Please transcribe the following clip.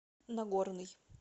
нагорный